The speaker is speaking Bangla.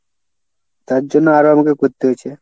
তারজন্য আরো আমাকে করতে হচ্ছে।